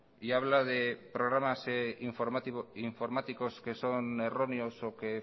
y habla de programas informáticos que son erróneos o que